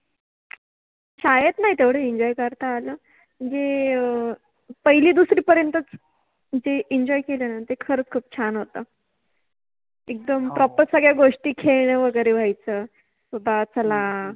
शाळेत नाहि तेवढा Enjoy करता आल, मनजे अ पहिलि दुसरि पर्यंतच जे Enjoy केल न ते खरच खुप छान होत, एकदम Proper सगळ्या गोष्टी खेळण वगेरे व्हायच कि बा चला